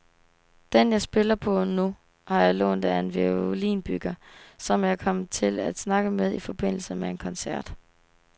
Den jeg spiller på nu, har jeg lånt af en violinbygger, som jeg kom til at snakke med i forbindelse med en koncert.